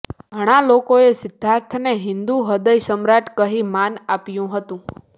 ઘણા લોકોએ સિદ્ધાર્થને હિંદુ હદય સમ્રાટ કહી માન આપ્યું હતું